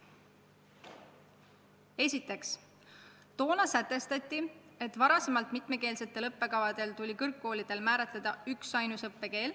Esiteks, toona sätestati, et varem mitmekeelsete õppekavade puhul tuli kõrgkoolidel määratleda üksainus õppekeel.